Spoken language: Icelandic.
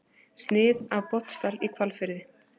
Snið af Botnsdal í Hvalfirði.